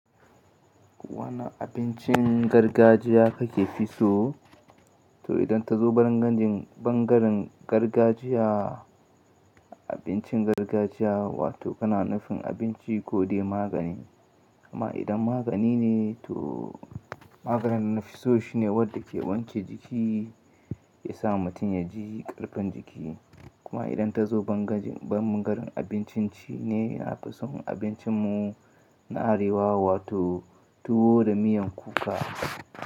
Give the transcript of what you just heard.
Wane abincin gargajiya kake fi so? To idan ta zo bangaren gargajiya, abincin gargajiya wato kana nufin abinci kodai magani. Amma idan magani ne to maganin nafi so shine wanda ke wanke jiki, ya sa mutum ya ji karfin jiki. Kuma idan ta zo bangaren abincin cini na fi son abincin mu na arewa wato tuwo da miyan kuka.